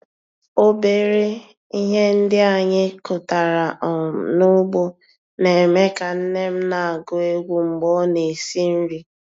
Obere ihe ndị anyị kụtara um n'ugbo na-eme ka nne m na-agụ egwu mgbe ọ na-esi nri.